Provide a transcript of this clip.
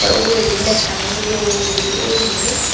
te ugureydi mekkaniow doll guri oiay.